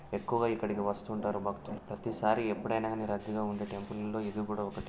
ఎక్కువగా ఇక్కడికి వస్తుంటారు భక్తులు ప్రతిసారీ ప్రీతి సారి రద్దీ గ వుండే టెంపుల్ లో ఇది ఒక్కటి.